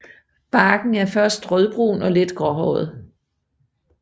Barken er først rødbrun og let gråhåret